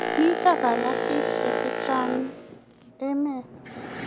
mito galaksishek chechang emet